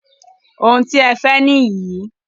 Oun tí ẹ fẹ́ nìyí.